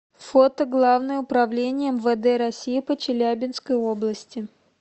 фото главное управление мвд россии по челябинской области